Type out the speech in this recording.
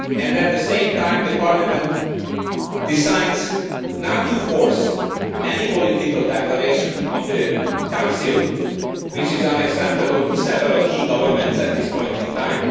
At the same time, Parliament could decide not to force any political declaration on the Council which is unacceptable to several key governments at this time.